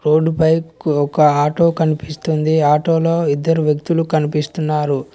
Road పై ఒక auto కనిపిస్తుంది ఆ ఆటో లో ఇద్దరు వ్యక్తిలు కనిపిస్తున్నారు.